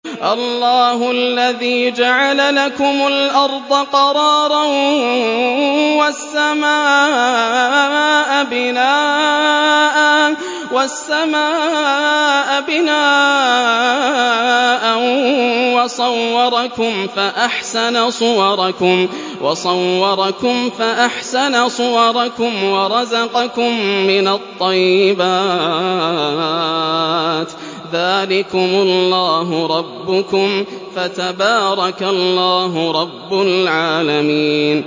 اللَّهُ الَّذِي جَعَلَ لَكُمُ الْأَرْضَ قَرَارًا وَالسَّمَاءَ بِنَاءً وَصَوَّرَكُمْ فَأَحْسَنَ صُوَرَكُمْ وَرَزَقَكُم مِّنَ الطَّيِّبَاتِ ۚ ذَٰلِكُمُ اللَّهُ رَبُّكُمْ ۖ فَتَبَارَكَ اللَّهُ رَبُّ الْعَالَمِينَ